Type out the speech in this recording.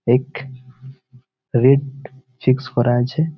এক রেট চিস করা আছে।